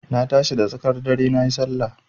Na tashi da tsakar dare nayi Sallah.